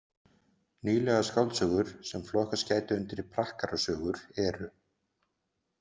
Nýlegar skáldsögur sem flokkast gætu undir prakkarasögur eru.